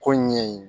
Ko in ɲɛɲini